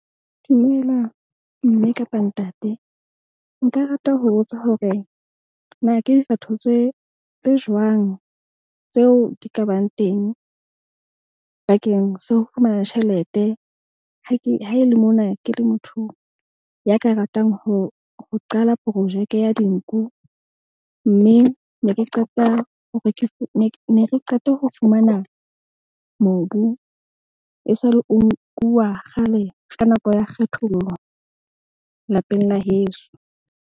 Dumela mme kapa ntate nka rata ho botsa hore na ke tse jwang tseo di ka bang teng bakeng sa ho fumana tjhelete. Haele mona, ke le motho ya ka ratang ho qala projeke ya dinku. Mme ne ke qeta hore re ne ke qeta ho fumana mobu e sale, o nkuwa kgale ka nako ya kgethollo lapeng la heso.